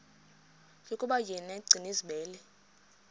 yokuba yena gcinizibele